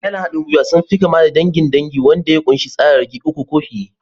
Iyalin haɗin gwiwa sun fi kama da dangin dangi wanda ya ƙunshi tsararraki uku ko fiye.